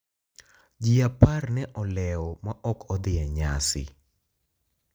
Ji apar ne olewo ma ok odhi e nyasi.